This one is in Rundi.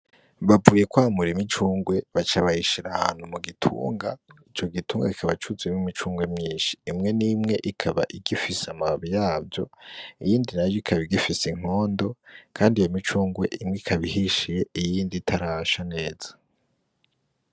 Bavuye kwamura imicungwe baca bayishira ahantu mu gitunga ico gitunga kikiba cuzuyemwo imicungwe myinshi imwe n' imwe ikaba igifise amababi yavyo iyindi nayo ikaba igifise inkondo kandi iyo micungwe imwe ikaba ihishiye iyindi itarasha neza.